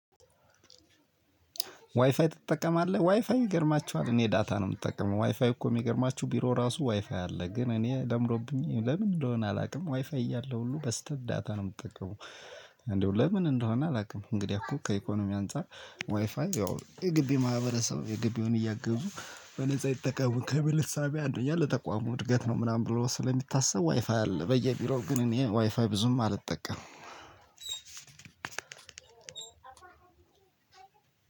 ዋይፋይ ትጠቀማለህ ዋይፋይ ይገርማችኋል እኔ ዳታ ነው የምጠቀመው ዋይፋይ እኮ የሚገርማችሁ ቢሮ ራሱ ዋይፋይ አለ ግን እኔ ለምዶብኝ ለምን እንደሆነ አላውቅም ዋይፋይ እያለ ሁሉ በዳታ ነው የምጠቀመው። እንደው ለምን እንደሆነ አላውቅም። እንግዲህ እኮ ከኢኮኖሚ አንፃር ዋይፋይ ያው የግብይ ማህበረሰብ የግብዩን የግቢውን በነፃ ይጠቀሙ ከሚል እሳቤ አንዱ ያ ለተቋሙ እድገት ነው። ምናምን ብሎ ስለሚታሰብ ዋይፋይ አለ በየቢሮ ግን እኔ ዋይፋ ብዙም አልጠቀምም።